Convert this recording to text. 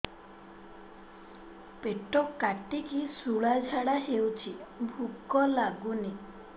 ପେଟ କାଟିକି ଶୂଳା ଝାଡ଼ା ହଉଚି ଭୁକ ଲାଗୁନି